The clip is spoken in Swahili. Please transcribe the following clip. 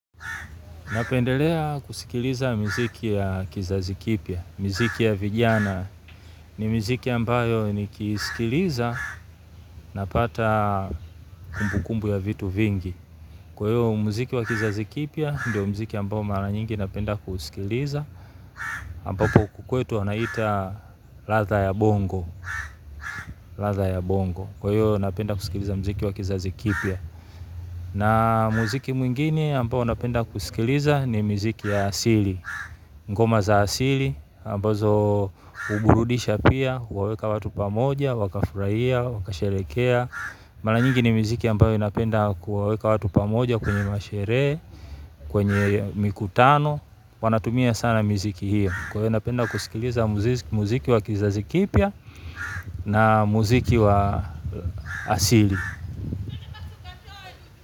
Napendelea kusikiliza miziki ya kizazi kipya, miziki ya vijana ni miziki ambayo nikisikiliza napata kumbukumbu ya vitu vingi. Kwaivo mziki wa kizazi kipya ndio mziki ambao mara nyingi napenda kusikiliza. Ambako huku kwetu wanaita ladha ya bongo, ladha ya bongo. Kwayo napenda kusikiliza mziki wa kizazikipia. Na muziki mwingine ambayo napenda kusikiliza ni miziki ya asili. Ngoma za asili, ambazo huburudisha pia, huwaweka watu pamoja, wakafurahia, wakasherekea. Mara nyingi ni miziki ambayo inapenda kuwaweka watu pamoja kwenye masherehe, kwenye mikutano. Wanatumia sana miziki hio. Kwa hiyo napenda kusikiliza muziki wa kizazi kipya na muziki wa asili.